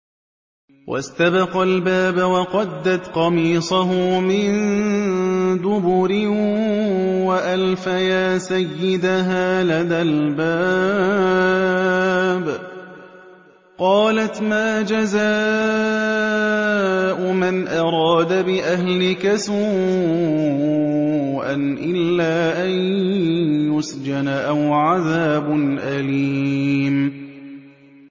وَاسْتَبَقَا الْبَابَ وَقَدَّتْ قَمِيصَهُ مِن دُبُرٍ وَأَلْفَيَا سَيِّدَهَا لَدَى الْبَابِ ۚ قَالَتْ مَا جَزَاءُ مَنْ أَرَادَ بِأَهْلِكَ سُوءًا إِلَّا أَن يُسْجَنَ أَوْ عَذَابٌ أَلِيمٌ